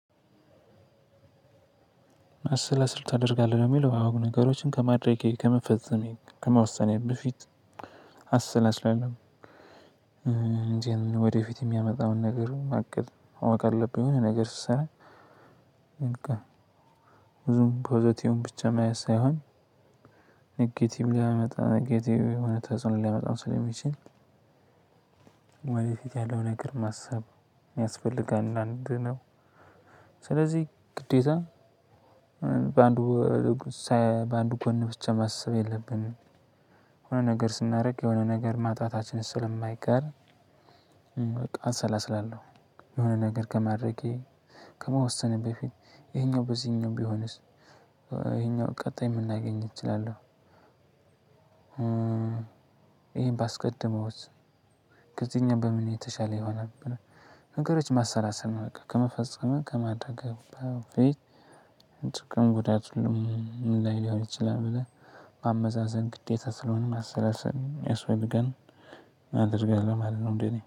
ማሰላሰል ታደርጋለህ ለሚለው? አዎ ነገሮችን ከማድረጌ ከመፈጸሜ ከመውሰኔ በፊት አሰላስላለሁ እንጂ ወደፊት የሚያመጣውን ነገር አቅድ ማወቅ አለብኝ የሆነ ነገር ስሰራ በቃ ብዙም ፖዘቲቭ ብቻ ማየት ሳይሆን ኔጌቲቭ ሊያመጣ ኔጌቲቭ የሆነ ተጽዕኖ ሊያመጣ ስለሚችል ወደ ፊት ያለው ነገር ማሰብ ያስፈልጋል። አንዳንድ ነው። ስለዚህ ግዴታ በአንዱ በአንዱ ጎን ብቻ ማሰብ የለብንም። የሆነ ነገር ስናደርግ የሆነ ነገር ማጣታችንን ስለማይቀር። አሰላስላለሁ የሆነ ነገር ከማድረጌ ከመወሰኔ በፊት ይሄኛው በዚህኛው ቢሆንስ ይሄኛው ቀጣይ ምን ላገኝ እችላለሁ? ይሄን ባስቀድመውስ ከዚህኛው በምን የተሻለ ይሆናል? ነገሮች ማሰላሰል በቃ ከመፈጸምህ ከማድረግህ በፊት ጥቅም ጉዳት ምን ላይ ሊሆን ይችላል ብለህ ማመዛዘን ግዴታ ስለሆነ ማሰላሰል ያስፈልጋል። አድርጋለው ማለት ነው እንዴ እኔ